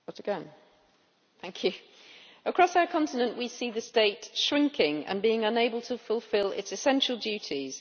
Mr President, across our continent we see the state shrinking and being unable to fulfil its essential duties.